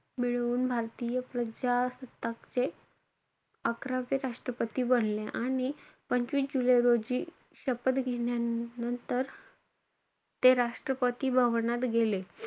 मिळवून भारतीय प्रजासत्ताकाचे अकरावे राष्ट्रपती बनले. आणि पंचवीस जुलै रोजी शपथ घेण्यानंतर ते राष्ट्रपती भवनात गेले.